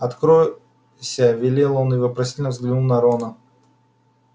откройся велел он и вопросительно взглянул на рона